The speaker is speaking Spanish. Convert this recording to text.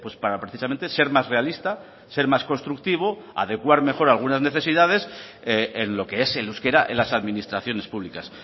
para precisamente ser más realista ser más constructivo adecuar mejor algunas necesidades en lo que es el euskera en las administraciones públicas